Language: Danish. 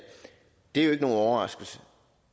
er jo ikke nogen overraskelse